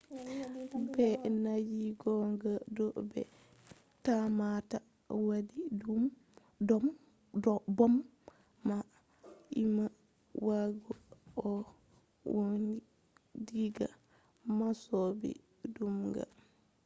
ɓe nangi goɗɗo mo ɓe tammata waɗi bom man umma ɓawo o nauni diga masibo bom man